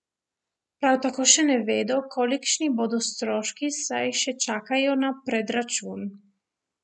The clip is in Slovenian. Prav tako še ne vedo, kolikšni bodo stroški, saj še čakajo na predračun.